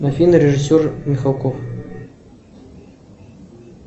афина режиссер михалков